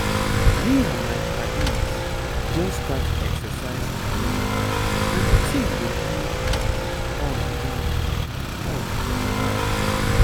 me and my paddies just start exercise challenge and the thing dey give um us joy. us joy.